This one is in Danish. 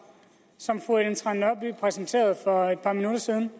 som fru ellen trane nørby præsenterede for et par minutter siden